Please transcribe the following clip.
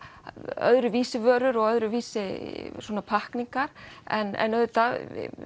öðruvísi vörur og öðruvísi pakkningar en auðvitað